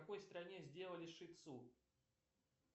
в какой стране сделали шицу